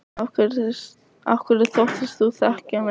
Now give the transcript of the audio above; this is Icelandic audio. Af hverju þóttist þú þá þekkja mig?